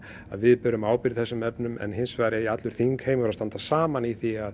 að við berum ábyrgð í þessum efnum en hins vegar eigi allur þingheimur að standa saman í því að